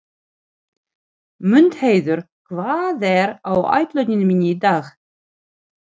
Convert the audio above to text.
Mundheiður, hvað er á áætluninni minni í dag?